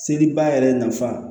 Seliba yɛrɛ nafa